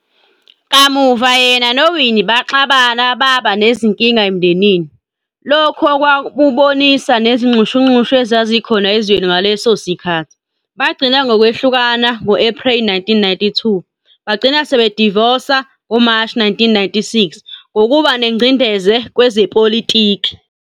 Kamuva yena noWinnie baxabana babanezinkinga emndenini, lokhu okwakubonisa nezinxushunxushu ezazikhona ezweni ngaleso sikhathi, bagcina ngokwehlukana, ngo-Epreli 1992, bagcina sebedivosa, ngoMashi 1996, ngokuba nengcindeze kwezepolitiki.